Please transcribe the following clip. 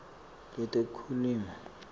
letekulima